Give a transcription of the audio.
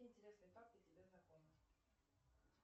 какие интересные факты тебе знакомы